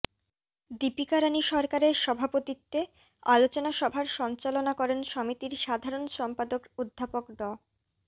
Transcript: দীপিকা রানী সরকারের সভাপতিত্বে আলোচনা সভার সঞ্চালনা করেন সমিতির সাধারণ সম্পাদক অধ্যাপক ড